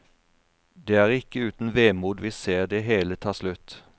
Det er ikke uten vemod vi ser det hele ta slutt.